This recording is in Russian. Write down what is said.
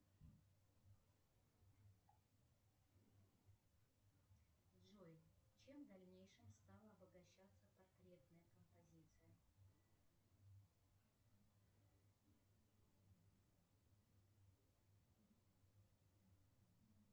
джой чем в дальнейшем стала обогащаться портретная композиция